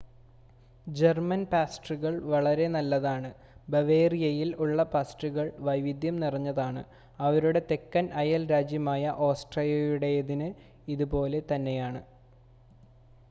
German പാസ്ട്രികൾ വളരെ നല്ലതാണ്. ബവേറിയയിൽ ഉള്ള പാസ്ട്രികൾ വൈവിധ്യം നിറഞ്ഞതാണ്. അവരുടെ തെക്കൻ അയൽ രാജ്യമായ ഓസ്ട്രിയയുടേതിന് ഇതുപോലെ തന്നെയാണ്